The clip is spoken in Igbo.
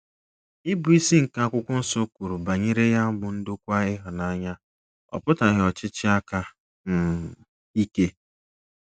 Ịbụisi nke akwụkwọ nsọ kwuru banyere ya bụ ndokwa ịhụnanya, ọ pụtaghị ọchịchị aka um ike.